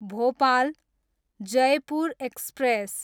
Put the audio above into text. Bhopal, Jaipur express